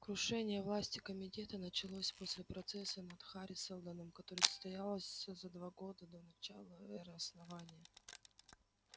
крушение власти комитета началось после процесса над хари сэлдоном который состоялось за два года до начала эры основания